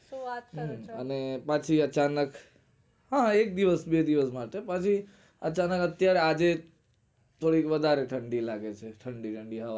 શું વાત કરો છો? બાકી અચાનક હા એક દિવસ બે દિવસ માં હતો પાછો અચાનક અત્યરે આજે થોડીક વધારે ઠંડી લાગે છે